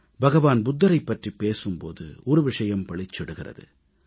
பகவான் புத்தரைப் பற்றிப் பேசும் போது ஒரு விஷயம் பளிச்சிடுகிறது